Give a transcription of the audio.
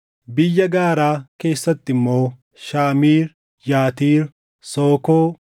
Biyya gaaraa keessatti immoo: Shaamiir, Yatiir, Sookoo,